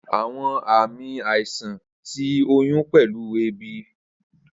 Awọn aami aisan ti oyun pẹlu eebi.